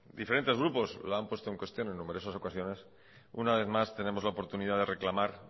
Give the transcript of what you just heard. diferentes grupos la han puesto en cuestión en numerosas ocasiones una vez más tenemos la oportunidad de reclamar